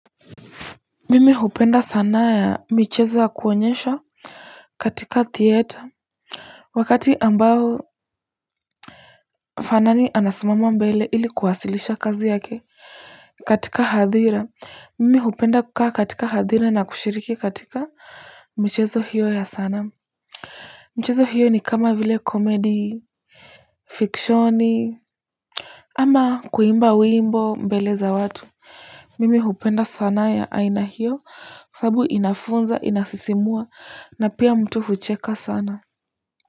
Mimi hupenda sanaa ya michezo ya kuonyesha katika theater wakati ambao fanani anasimama mbele ili kuwasilisha kazi yake katika hadhira mimi hupenda kukaa katika hadhira na kushiriki katika michezo hiyo ya sanaa michezo hiyo ni kama vile comedy fiction ama kuimba wimbo mbele ya watu mimi hupenda sanaa ya aina hiyo sababu inafunza inasisimua na pia mtu hucheka sana kwa hivyo.